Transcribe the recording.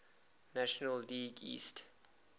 national league east